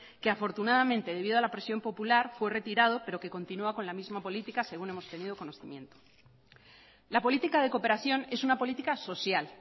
que afortunadamente debido a la presión popular fue retirado pero que continúa con la misma política según hemos tenido conocimiento la política de cooperación es una política social